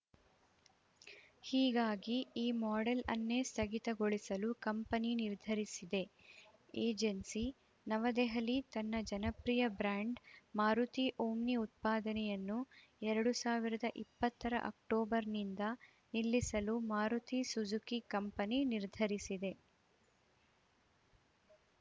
ಹೀಗಾಗಿ ಈ ಮಾಡೆಲ್‌ ಅನ್ನೇ ಸ್ಥಗಿತಗೊಳಿಸಲು ಕಂಪನಿ ನಿರ್ಧರಿಸಿದೆ ಏಜೆನ್ಸಿ ನವದೆಹಲಿ ತನ್ನ ಜನಪ್ರಿಯ ಬ್ರ್ಯಾಂಡ್‌ ಮಾರುತಿ ಓಮ್ನಿ ಉತ್ಪಾದನೆಯನ್ನು ಎರಡು ಸಾವಿರದ ಇಪ್ಪತ್ತರ ಅಕ್ಟೋಬರ್‌ನಿಂದ ನಿಲ್ಲಿಸಲು ಮಾರುತಿ ಸುಝುಕಿ ಕಂಪನಿ ನಿರ್ಧರಿಸಿದೆ